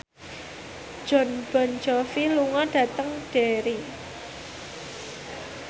Jon Bon Jovi lunga dhateng Derry